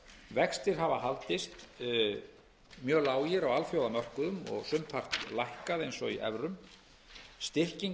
vextir vextir hafa haldist mjög lágir á alþjóðamörkuðum og sumpart lækkað eins og í evrum styrking